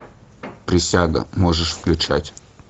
присяга можешь включать